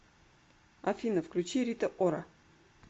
афина включи рита ора